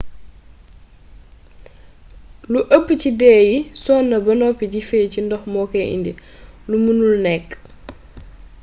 lu ëpp ci dee yi sonn ba noppi di fééy ci ndox mokoy indi lu meenul nékk